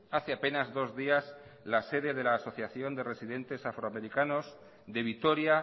hace apenas dos días la sede de la asociación de residentes afroamericanos de vitoria